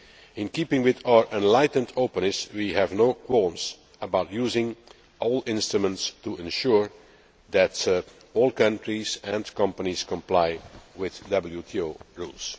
In keeping with our enlightened openness, we have no qualms about using all instruments to ensure that all countries and companies comply with WTO rules.